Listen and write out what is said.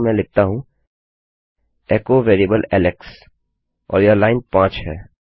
चलिए यहाँ मैं लिखता हूँ एचो वेरिएबल एलेक्स और यह लाइन 5 है